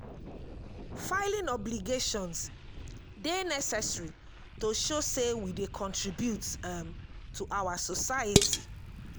filing obligations dey necessary to show say we dey contribute um to our society.